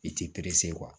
I t'i